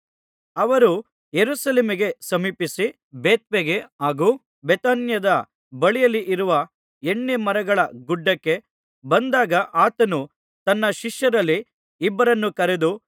ಅವರು ಯೆರೂಸಲೇಮಿಗೆ ಸಮೀಪಿಸಿ ಬೆತ್ಫಗೆ ಹಾಗೂ ಬೇಥಾನ್ಯದ ಬಳಿಯಲ್ಲಿರುವ ಎಣ್ಣೆಮರಗಳ ಗುಡ್ಡಕ್ಕೆ ಬಂದಾಗ ಆತನು ತನ್ನ ಶಿಷ್ಯರಲ್ಲಿ ಇಬ್ಬರನ್ನು ಕರೆದು